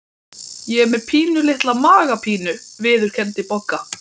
Ég er með pínulitla magapínu viðurkenndi Bogga.